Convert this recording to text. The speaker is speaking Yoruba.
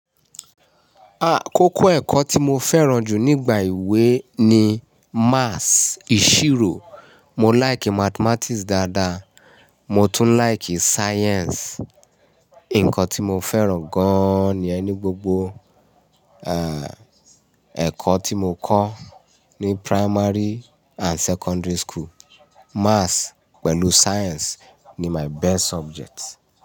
Àkókò ẹ̀kọ́ tí mo fẹ́ràn jù nígbà ìwé ni Maths ìṣirò. Mo like Mathematics dáadáa, mo tún like Science. Ǹkan tí mo fẹ́ràn gán-an ni ẹ́ ní gbogbo, ẹ̀kọ́ tí mo kọ́ ní primary and secondary school. Maths pẹ̀lú Science ni my best subjects.